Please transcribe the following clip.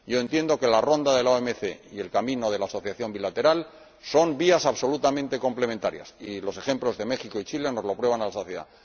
Yo entiendo que la Ronda de la OMC y el camino de la asociación bilateral son vías absolutamente complementarias, y los ejemplos de México y Chile nos lo prueban hasta la saciedad.